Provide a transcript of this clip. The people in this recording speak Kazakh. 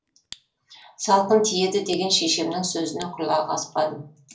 салқын тиеді деген шешемнің сөзіне құлақ аспадым